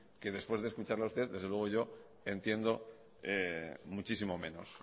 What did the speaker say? que después de escucharla a usted desde luego yo entiendo muchísimo menos